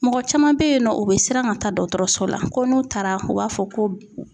Mɔgɔ caman be yen nɔ, u bi siran ka taa dɔkɔtɔrɔso la, ko n'u taara u b'a fɔ ko